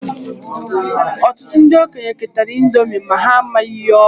Ọtụtụ ndị okenye ketara índomi ma ha amaghị ihe ọ bu.